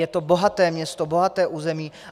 Je to bohaté město, bohaté území.